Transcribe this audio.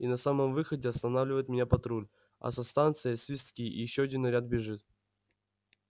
и на самом выходе останавливает меня патруль а со станции свистки и ещё один наряд бежит